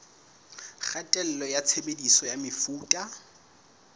kgatello ya tshebediso ya mefuta